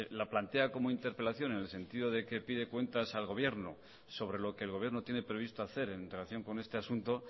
la plantea como interpelación en el sentido de que pide cuentas al gobierno sobre lo que el gobierno tiene previsto hacer en relación con este asunto